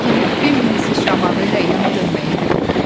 Lakin Bambinin sıçramağı ilə yana dönməyi bir oldu.